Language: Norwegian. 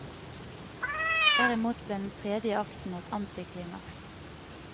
Derimot ble den tredje akten et antiklimaks.